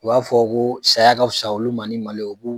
U b'a fɔ ko saya ka fusa olu ma ni malo ye o k'u